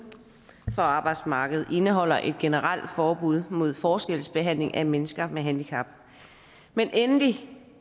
for arbejdsmarkedet indeholder et generelt forbud mod forskelsbehandling af mennesker med handicap men endelig